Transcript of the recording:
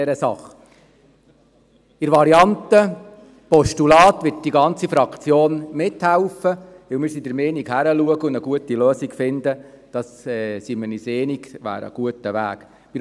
Die Variante Postulat wird von der gesamten Fraktion unterstützt, da wir der Meinung sind, es wäre ein guter Weg, damit eine geeignete Lösung zu finden.